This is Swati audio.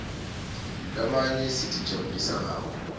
lamanye sitijabulisa ngawo